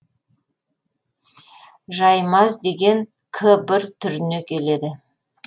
жаймаз деген к бір түріне келеді